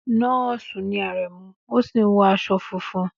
Nọ́ọ̀sì ni Aremu, ó sì wọ aṣọ funfun.